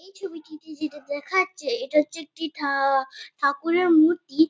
এই ছবিটিতে যেটা দেখা যাচ্ছে এটা হচ্ছে একটি ঠাআআ ঠাকুরের মূর্তি।